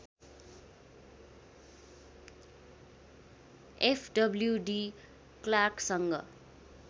F W de क्लार्कसँग